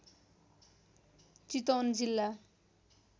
चितवन जिल्ला